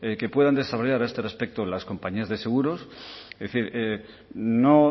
que puedan desarrollar a este respecto las compañías de seguros es decir no